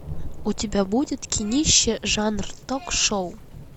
у тебя будет кинище жанр ток шоу